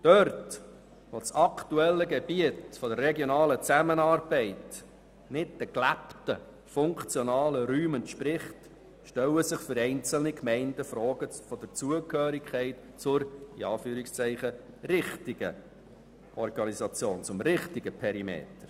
Wo das aktuelle Gebiet der regionalen Zusammenarbeit nicht den gelebten funktionalen Räumen entspricht, stellen sich für einzelne Gemeinden Fragen der Zugehörigkeit zur «richtigen» Organisation und zum «richtigen» Perimeter.